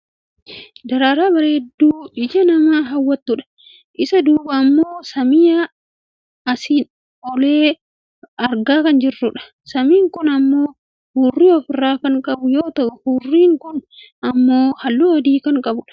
Daraaraa bareedduu ija namaa hawwattudha. Isa duubaa ammoo samii asiin older argaa kan jirrudha. Samiin kun ammoo huurrii of irraa kan qabu yoo ta'u huurriin kun ammoo halluu adii kan qabudha.